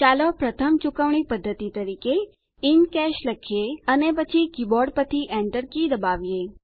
ચાલો પ્રથમ ચુકવણી પદ્ધતિ તરીકે ઇન કેશ લખીએ અને પછી કીબોર્ડ પરથી Enter કી દબાવો